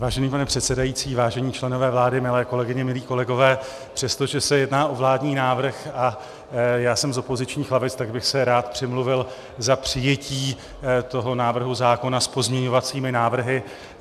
Vážený pane předsedající, vážení členové vlády, milé kolegyně, milí kolegové, přestože se jedná o vládní návrh a já jsem z opozičních lavic, tak bych se rád přimluvil za přijetí toho návrhu zákona s pozměňovacími návrhy.